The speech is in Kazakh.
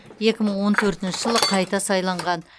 екі мың он төртінші жылы қайта сайланған